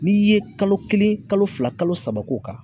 N'i ye kalo kelen kalo fila kalo saba k'o kan